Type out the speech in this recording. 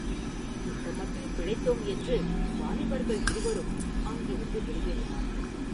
இந்தமட்டில் பிழைத்தோம் என்று வாலிபர்கள் இருவரும் அங்கிருந்து வெளியேறினார்கள்.